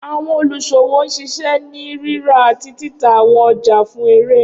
Awọn oniṣowo n ṣiṣẹ ni rira ati tita awọn ọja fun ere.